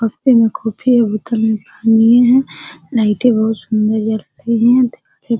कपे में कॉफी है बोतल में पानी है लाइटें बहुत सुंदर जल रही है दिखाई --